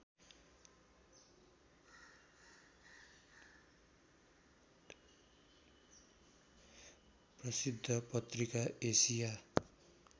प्रसिद्ध पत्रिका एसिया